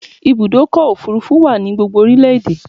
Ibùdọ́kọ̀ òfurufú wa ni gbogbo orílẹ̀ èdè